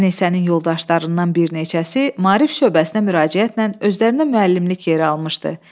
Ənisənin yoldaşlarından bir neçəsi maarif şöbəsinə müraciətlə özlərinə müəllimlik yeri almışdı.